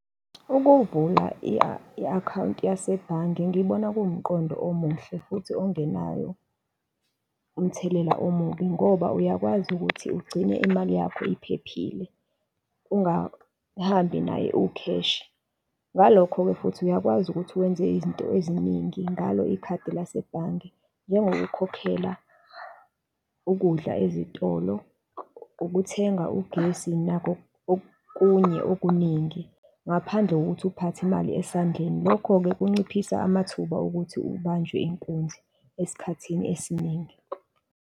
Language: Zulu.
Ukuvula i-akhawunti yasebhange ngibona kuwumqondo omuhle futhi ongenawo umthelela omubi, ngoba uyakwazi ukuthi ugcine imali yakho iphephile, ungahambi nayo iwu-cash. Ngalokho-ke futhi uyakwazi ukuthi wenze izinto eziningi ngalo ikhadi lasebhange njengokukhokhela ukudla ezitolo, ukuthenga ugesi nako okunye okuningi ngaphandle kokuthi uphathe imali esandleni. Lokho-ke kunciphisa amathuba okuthi ubanjwe inkunzi esikhathini esiningi.